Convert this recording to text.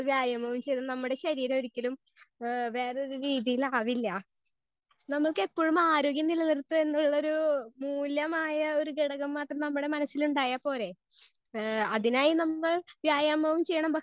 Speaker 1 വ്യായാമം ചെയ്തു നമ്മുടെ ശരീരം ഒരിക്കലും ഹേ വേറെ ഒര്‌ രീതിയിൽ ആവില്ല. നമുക്ക് എപ്പോഴും ആരോഗ്യം നിലനിർത്തുഗ എന്നുള്ളൊരു മൂല്യമായ ഒര്‌ ഘടകം എന്നത് നമ്മുടെ മനസ്സിൽ ഉണ്ടായാൽ പോരെ ഹേ അതിനായ് നമ്മൾ വ്യായാമവും ചെയ്യണം